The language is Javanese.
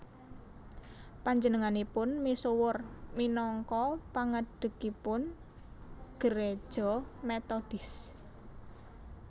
Panjenenganipun misuwur minangka pangadhegipun Gereja Metodis